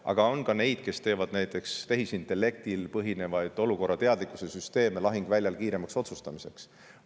Aga on ka neid, kes teevad näiteks tehisintellektil põhinevaid olukorrateadlikkuse süsteeme lahinguväljal kiiremaks otsustamiseks.